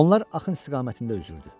Onlar axın istiqamətində üzürdü.